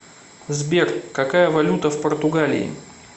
сбер какая валюта в португалии